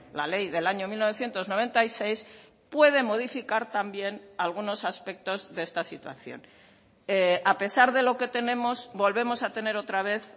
la ley del año mil novecientos noventa y seis puede modificar también algunos aspectos de esta situación a pesar de lo que tenemos volvemos a tener otra vez